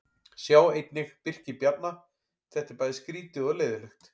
Sjá einnig: Birkir Bjarna: Þetta er bæði skrýtið og leiðinlegt